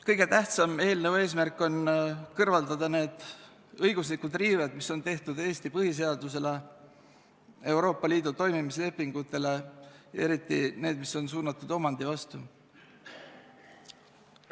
Kõige tähtsam eelnõu eesmärk on kõrvaldada need õiguslikud riived, mis on tehtud Eesti põhiseadusele ja Euroopa Liidu toimimise lepingule, eriti need, mis on suunatud omandi vastu.